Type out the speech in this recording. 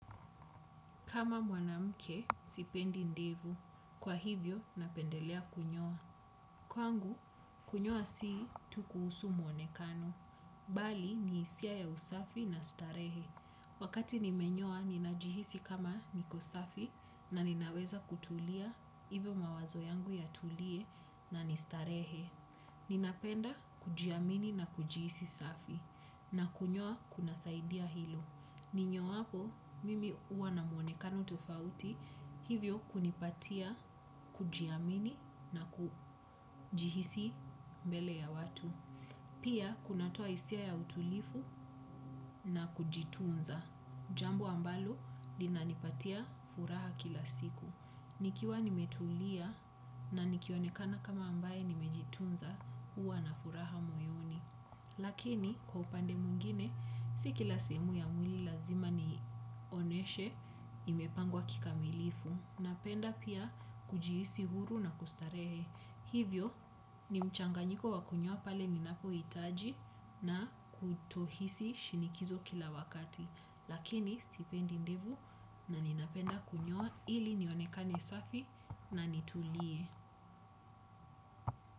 Kama mwanamke sipendi ndevu. Kwa hivyo, napendelea kunyoa. Kwangu, kunyoa sii tukuusu mwonekano. Bali, ni isia ya usafi na starehe. Wakati nimenyoa, ninajihisi kama niko safi na ninaweza kutulia, hivyo mawazo yangu yatulie na nistarehe. Ninapenda kujiamini na kujiisi safi. Na kunyoa, kuna saidia hilo. Ninyoapo, mimi uwa na muonekano tofauti hivyo kunipatia, kujiamini na kujihisi mbele ya watu. Pia kunatoa hisia ya utulifu na kujifunza. Jambo ambalo, linanipatia furaha kila siku. Nikiwa nimetulia na nikionekana kama ambaye nimejitunza, uwa na furaha moyoni. Lakini kwa upande mwingine si kila sehemu ya mwili lazima nioneshe imepangwa kikamilifu Napenda pia kujihisi huru na kustarehe. Hivyo, ni mchanganyiko wakunyoa pale ninapo itaji na kutohisi shinikizo kila wakati. Lakini, sipendi ndevu na ninapenda kunyoa ili nionekane safi na nitulie.